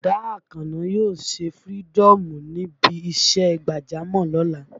Bọ̀dá Àkànó yóò ṣe fïrídọ́ọ̀mù níbi ìṣe gbàjámọ̀ lọ́la